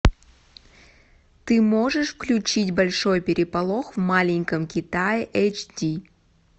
ты можешь включить большой переполох в маленьком китае эйч ди